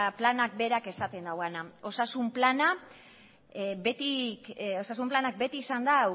planak berak esaten duena osasun planak beti izan du